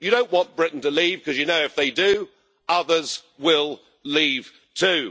You don't want Britain to leave, because you know if they do, others will leave too.